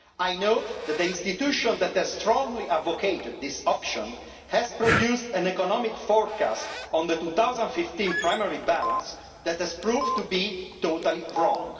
I note that the institution that has strongly advocated this option produced an economic forecast on the 2015 primary balance that has proved to be totally wrong.